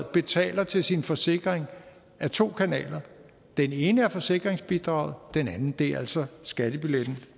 betaler til sin forsikring ad to kanaler den ene er forsikringsbidraget den anden er altså skattebilletten